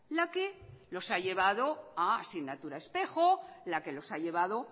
la que los ha llevado a asignatura espejo la que los ha llevado